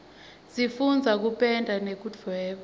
sifundza kupenda nekudvweba